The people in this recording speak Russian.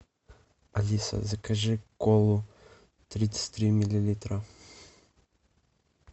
алиса закажи колу тридцать три миллилитра